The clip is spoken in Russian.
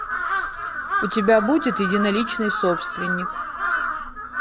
у тебя будет единоличный собственник